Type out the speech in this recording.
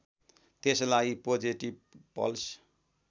त्यसलाई positive pulse